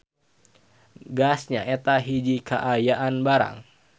Gas nyaeta hiji kaayaan barang.